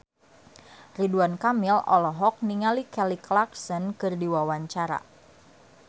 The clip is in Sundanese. Ridwan Kamil olohok ningali Kelly Clarkson keur diwawancara